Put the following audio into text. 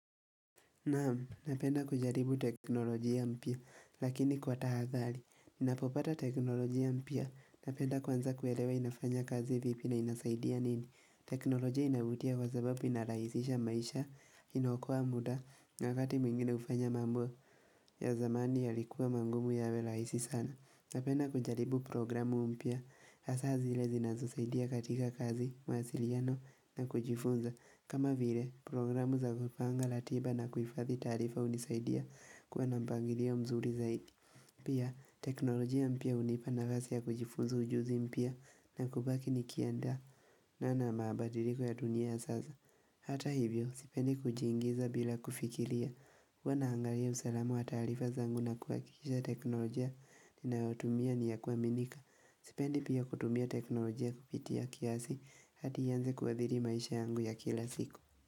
Naam, napenda kujaribu teknolojia mpya, lakini kwa tahadhari. Ninapopata teknolojia mpya, napenda kwanza kuelewa inafanya kazi vipi na inasaidia nini. Teknolojia inavutia kwa sababu inarahisisha maisha, inaokoa muda, na wakati mwingine hufanya mambo ya zamani ya likuwa magumu yawe rahisi sana. Napenda kujaribu programu mpya, hasa zile zinazosaidia katika kazi, mawasiliano na kujifunza. Kama vile, programu za kupanga ratiba na kuifadhi taarifa hunisaidia kuwa na mpangilio mzuri zaidi. Pia, teknolojia mpya hunipa nafasi ya kujifunza ujuzi mpya na kubaki nikiendana na mabadiriko ya dunia ya sasa. Hata hivyo, sipendi kujiingiza bila kufikiria. Huwa naangalia usalama wa taarifa zangu na kuhakikisha teknolojia ninayotumia ni ya kuaminika. Sipendi pia kutumia teknolojia kupitia kiasi hadi ianze kuhathiri maisha yangu ya kila siku.